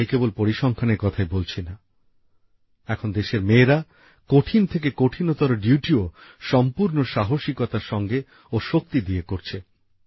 আর আমি কেবল পরিসংখ্যানের কথাই বলছি না এখন দেশের মেয়েরা কঠিন থেকে কঠিনতর ডিউটিও সম্পূর্ণ সাহসিকতার সঙ্গে ও শক্তি দিয়ে করছেন